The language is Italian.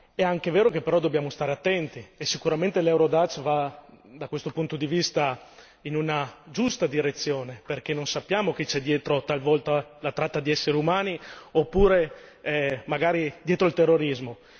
È anche vero che però dobbiamo stare attenti e sicuramente l'Eurodac va da questo punto di vista in una giusta direzione, perché non sappiamo chi c'è dietro, talvolta la tratta di esseri umani oppure magari dietro il terrorismo.